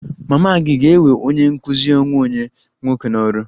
Mama gị ga-ewe onye nkụzi onwe onye nwoke n'ọrụ?